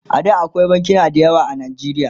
A da akwai bankuna da yawa a najeriya